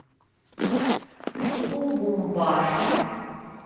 лубумбаши